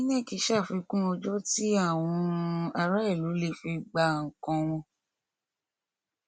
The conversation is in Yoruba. inec ṣàfikún ọjọ tí àwọn aráàlú lè fi gba nnkan wọn